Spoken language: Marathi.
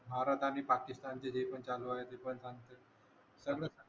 भारत आणि पाकिस्तानचे जे पण चालू आहे ते पण चांगलं सगळंच